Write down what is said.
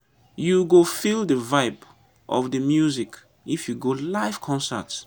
you go feel di vibe of di music if you go live concert.